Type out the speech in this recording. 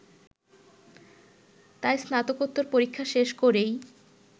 তাই স্নাতকোত্তর পরীক্ষা শেষ করেই